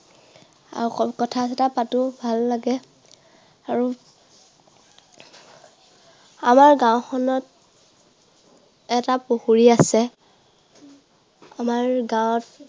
আৰু অকণ কথা চথা পাতো, ভাল লাগে। আৰু আমাৰ গাওঁখনত এটা পুখুৰী আছে। আমাৰ গাঁৱত